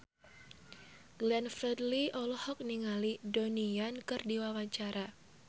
Glenn Fredly olohok ningali Donnie Yan keur diwawancara